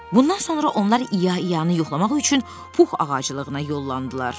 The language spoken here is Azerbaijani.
Bundan sonra onlar İya İyanı yoxlamaq üçün Pux ağaclığına yollandılar.